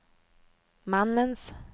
mannens